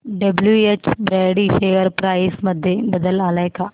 WH Brady share price मध्ये बदल आलाय का